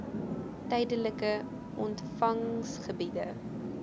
tydelike ont vangsgebiede